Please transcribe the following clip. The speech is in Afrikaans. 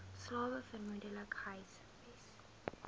slawe vermoedelik gehuisves